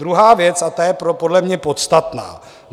Druhá věc, a ta je podle mě podstatná.